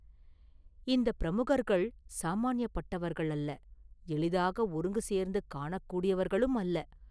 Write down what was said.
இந்த பிரமுகர்கள் சாமான்யப்பட்டவர்கள் அல்ல; எளிதாக ஒருங்கு சேர்த்து காணக்கூடியவர்களுமல்ல.